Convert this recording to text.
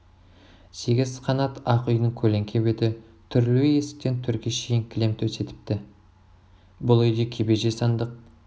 сегіз қанат ақ үйдің көлеңке беті түрулі есіктен төрге шейін кілем төсетіпті бұл үйде кебеже сандық